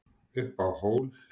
Upp á hól